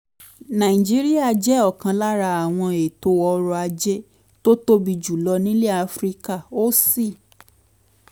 nàìjíríà jẹ́ ọ̀kan lára àwọn ètò ọrọ̀ ajé tó tóbi jù lọ nílẹ̀ áfíríkà ó sì